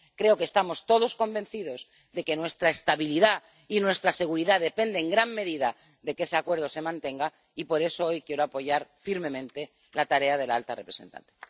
Creo que estamos todos convencidos de que nuestra estabilidad y nuestra seguridad dependen en gran medida de que ese acuerdo se mantenga, y por eso hoy quiero apoyar firmemente la tarea de la alta representante.